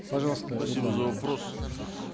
пожалуйста за вопрос